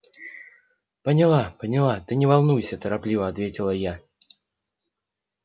поняла поняла ты не волнуйся торопливо ответила я